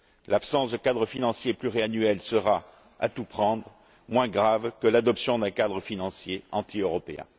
L'absence de cadre financier pluriannuel sera, à tout prendre, moins grave que l'adoption d'un cadre financier anti européen.